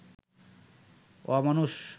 অমানুষ